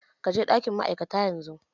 Ka je ɗakin ma'aikata yanzu!